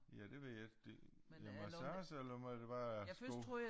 Ja det ved jeg ikke det ja massage eller er det bare sko